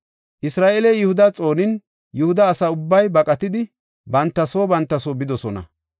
Isra7eeley Yihuda xoonin, Yihuda asa ubbay baqatidi, banta soo banta soo bidosona.